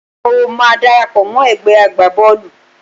Mo máa darapọ̀ mọ́ ẹ̀gbẹ́ agbá Bọ́ọ̀lù.